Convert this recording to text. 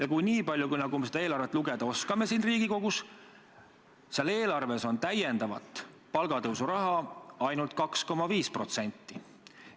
Aga nii palju, kui me seda eelarvet siin Riigikogus lugeda oskame, on eelarves palgatõusuks lisaraha ainult 2,5%.